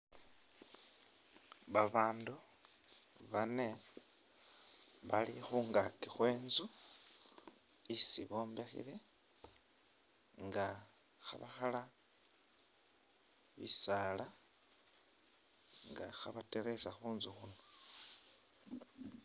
Babandu bane bali khungaki khwe’ntsu isi bombekhele nga khebakhala bisala nga khe’bateresa khuntsu khuno.